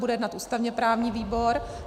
Bude jednat ústavně-právní výbor.